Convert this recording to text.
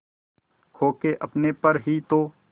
खो के अपने पर ही तो